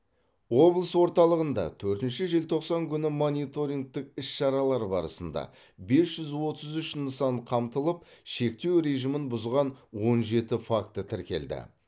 облыс орталығында төртінші желтоқсан күнгі мониторингтік іс шаралар барысында бес жүз отыз үш нысан қамтылып шектеу режимін бұзған он жеті факті тіркелді